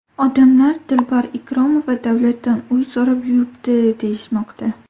Odamlar ‘Dilbar Ikromova davlatdan uy so‘rab yuribdi’, deyishmoqda.